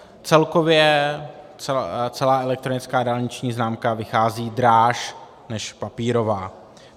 Celkově celá elektronická dálniční známka vychází dráž než papírová.